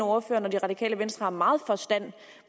ordføreren og det radikale venstre har meget forstand